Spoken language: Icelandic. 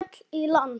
Hilmar hélt í land.